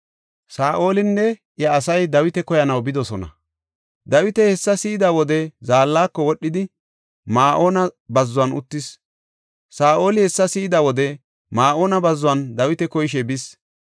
Saa7olinne iya asay Dawita koyanaw bidosona. Dawita hessa si7ida wode zaallako wodhidi, Ma7oona bazzuwan uttis. Saa7oli hessa si7ida wode Ma7oona bazzuwan Dawita koyishe bis.